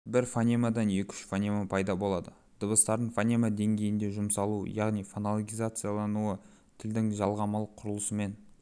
бір фонемадан екі-үш фонема пайда болады дыбыстардың фонема деңгейінде жұмсалуы яғни фонологизациялануы тілдің жалғамалық құрылысымен